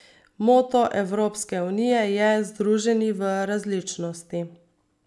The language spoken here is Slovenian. Moto Evropske unije je Združeni v različnosti.